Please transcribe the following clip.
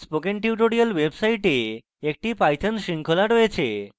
spoken tutorial website একটি python শৃঙ্খলা রয়েছে